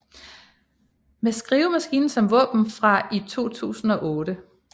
Med skrivemaskinen som våben fra i 2008